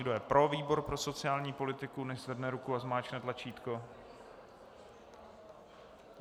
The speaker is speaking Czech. Kdo je pro výbor pro sociální politiku, nechť zvedne ruku a zmáčkne tlačítko.